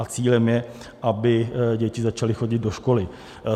A cílem je, aby děti začaly chodit do školy.